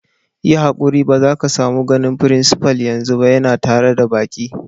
Yi hankuti ba za ka samu ganin frincipa'n yanzu ba, ya na tare da baki.